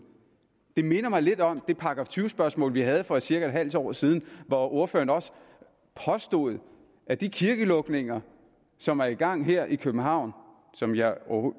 det minder mig lidt om det § tyve spørgsmål vi havde for cirka en halv år siden hvor ordføreren også påstod at de kirkelukninger som er i gang her i københavn og som jeg